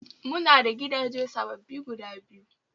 Mu na da gidaje sababbi guda biyu